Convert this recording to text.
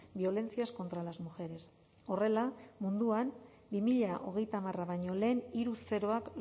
violencias contra las mujeres horrela munduan bi mila hogeita hamar baino lehen hiru zeroak